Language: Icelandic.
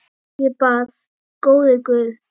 Ég bað: Góði Guð.